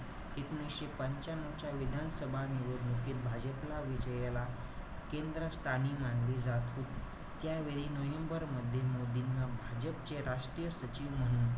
एकोणीशे पंच्यानऊ च्या विधानसभा निवडणुकीत भाजपला विजयाला केंद्रस्थानी मानले जात होते. त्यावेळी नोव्हेंबर मध्ये भाजपचे राष्ट्रीय सचिव म्हणून,